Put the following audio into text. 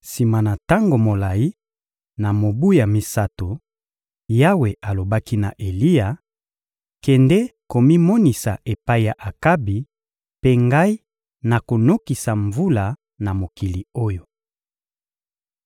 Sima na tango molayi, na mobu ya misato, Yawe alobaki na Eliya: «Kende komimonisa epai ya Akabi, mpe Ngai nakonokisa mvula na mokili oyo.»